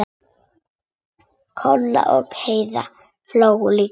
Kolla og Heiða hlógu líka.